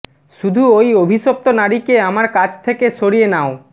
শুধু ঐ অভিশপ্ত নারীকে আমার কাছ থেকে সরিয়ে নাও